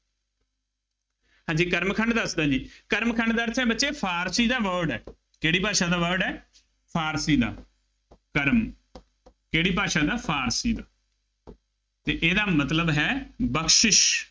ਹਾਂਜੀ ਕਰਮ ਖੰਡ ਦੱਸਦਾ ਜੀ, ਕਰਮ ਖੰਡ ਦਾ ਅਰਥ ਹੈ, ਬੱਚਿਉ ਫਾਰਸੀ ਦਾ word ਹੈ। ਕਿਹੜੀ ਭਾਸ਼ਾ ਦਾ word ਹੈ। ਫਾਰਸੀ ਦਾ, ਕਰਮ ਕਿਹੜੀ ਭਾਸ਼ਾ ਦਾ, ਫਾਰਸੀ ਅਤੇ ਇਹਦਾ ਮਤਲਬ ਹੈ ਬਖਸ਼ਿਸ਼